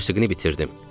Musiqini bitirdim.